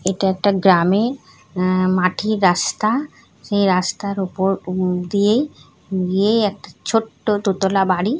এটা একটা গ্রামে আহ মাটির রাস্তা সেই রাস্তার ওপর দিয়েই গিয়েই একটা ছোট্ট দোতলা বাড়ি।